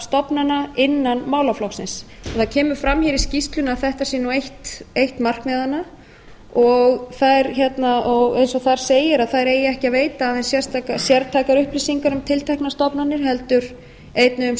stofnana innan málaflokksins það kemur fram í skýrslunni að þetta sé nú eitt markmiðanna og eins og þar segir að þær eigi ekki að veita aðeins sértækar upplýsingar um tilteknar stofnanir heldur einnig um